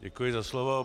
Děkuji za slovo.